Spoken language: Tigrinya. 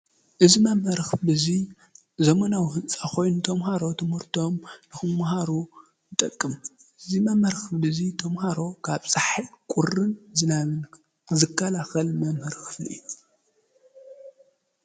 እዝ ማመርኽ ብዙይ ዘመናዊ ሕንፃ ኾይን ቶምሃሮ ትሙርቶም ንኹምመሃሩ ጠቅም እዝ ማመርክ ብዙይ ቶምሃሮ ካብ ሣሕል ቊርን ዝናምን ዘካላኸል መምህርኽፍሉ እዩ።